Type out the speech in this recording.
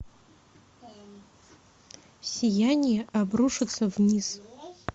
сияние обрушится вниз